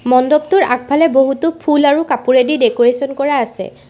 মণ্ডপটোৰ আগফালে বহুতো ফুল আৰু কাপোৰেদি ডেক'ৰেচন কৰা আছে।